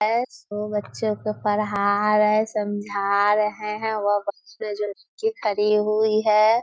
एसो बच्चों को पढ़ा रहे समझा रहे हैं वो बच्चे जो की खड़ी हुई है।